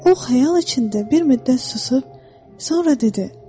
O xəyal içində bir müddət susub, sonra dedi: